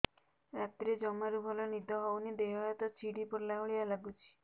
ରାତିରେ ଜମାରୁ ଭଲ ନିଦ ହଉନି ଦେହ ହାତ ଛିଡି ପଡିଲା ଭଳିଆ ଲାଗୁଚି